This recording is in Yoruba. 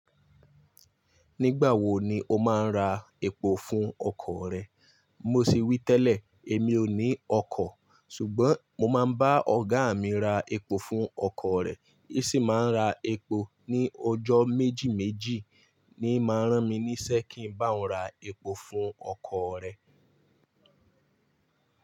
Nígbà wo ni o máa ń ra epo fún ọkọ̀ rẹ? Mo sì wí tẹ́lẹ̀, èmi ò ní ọkọ̀, ṣùgbọ́n mo máa ń bá ọ̀gá mi ra epo fún ọkọ̀ rẹ̀. Í sì máa ń ra epo ní ọjọ́ méjì méjì ni máa rán mi níṣẹ́ kí ń bá òun ra epo fún ọkọ̀ rẹ̀.